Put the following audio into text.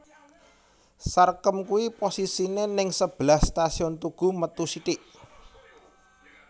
Sarkem kui posisine ning sebelah Stasiun Tugu metu sithik